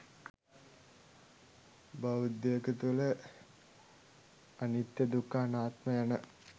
බෞද්ධයකු තුළ අනිත්‍ය, දුක්ඛ, අනාත්ම යන